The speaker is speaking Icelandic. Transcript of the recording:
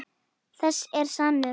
Þessi er sannur.